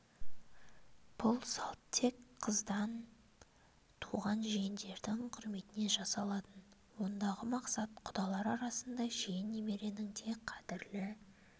бұл салт тек қыздан туған жиендердің құрметіне жасалатын ондағы мақсат құдалар арасында жиен немеренің де қадірлі